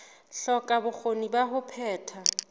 hloka bokgoni ba ho phetha